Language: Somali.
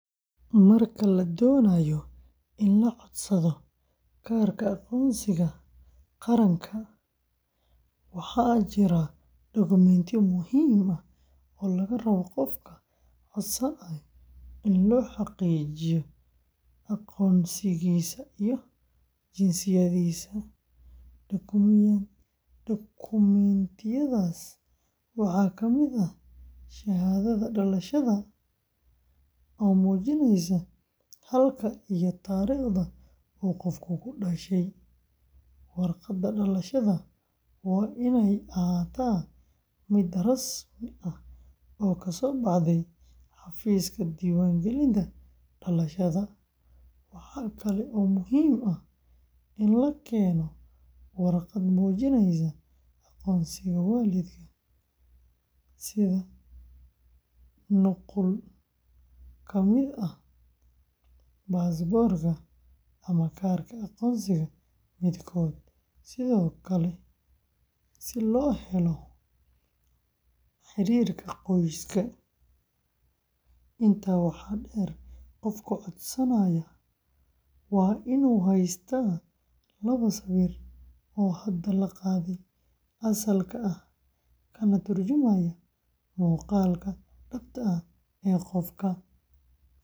Marka la doonayo in la codsado kaarka aqoonsiga qaranka ee, waxaa jira dukumiintiyo muhiim ah oo laga rabo qofka codsanaya si loo xaqiijiyo aqoonsigiisa iyo jinsiyadiisa. Dukumiintiyadaas waxaa ka mid ah shahaadada dhalashada, oo muujinaysa halka iyo taariikhda uu qofku ku dhashay; warqadda dhalashada waa inay ahaataa mid rasmi ah oo kasoo baxday xafiiska diiwaangelinta dhalashada. Waxaa kale oo muhiim ah in la keeno warqad muujinaysa aqoonsiga waalidka, sida nuqul ka mid ah baasaboorka ama kaarka aqoonsiga midkood, si loo helo xiriirka qoys. Intaa waxaa dheer, qofka codsanaya waa inuu haystaa laba sawir oo hadda la qaaday, asalka ah, kana turjumaya muuqaalka dhabta ah ee qofka.